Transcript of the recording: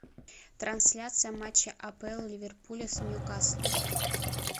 трансляция матча апл ливерпуля с ньюкаслом